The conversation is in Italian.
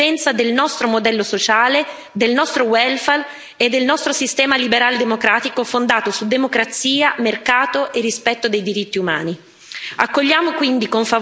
Stiamo parlando della sopravvivenza del nostro modello sociale, del nostro welfare e del nostro sistema liberaldemocratico fondato su democrazia, mercato e rispetto dei diritti umani.